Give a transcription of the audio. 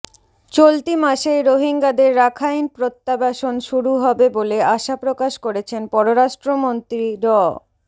চলতি মাসেই রোহিঙ্গাদের রাখাইন প্রত্যাবাসন শুরু হবে বলে আশাপ্রকাশ করেছেন পররাষ্ট্রমন্ত্রী ড